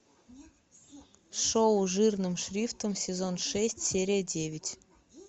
шоу жирным шрифтом сезон шесть серия девять